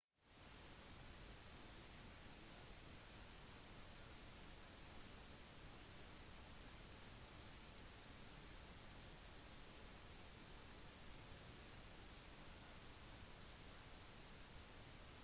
steintrinn er lagt langs mesteparten av veien og i de brattere delene gir stålkabler et støttende håndrekkverk